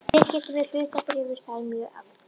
Viðskipti með hlutabréf eru þar mjög algeng.